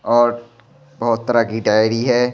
और बहुत तरह की डायरी है।